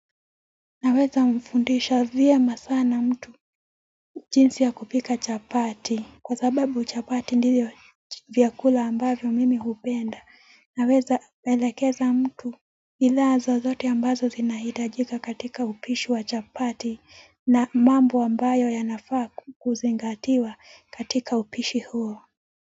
Naweza mfundisha vyema sana mtu jinsi ya kupika chapati kwa sababu chapati ndio vyakula ambavyo mimi hupenda. Naweza elekeza mtu ila zozote ambazo zinahitajika katika upishi wa chapati na mambo ambayo yanafaa kuzingatiwa katika upishi huo.